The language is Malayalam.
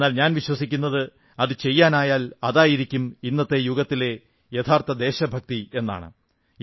എന്നാൽ ഞാൻ വിശ്വസിക്കുന്നത് അതു ചെയ്യാനായാൽ അതായിരിക്കും ഇന്നത്തെ യുഗത്തിലെ യഥാർഥ ദേശഭക്തി എന്നാണ്